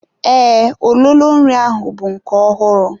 Ee, ololo nri ahụ bụ nke ọhụrụ.